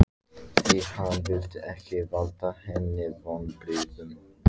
Því hann vildi ekki valda henni vonbrigðum.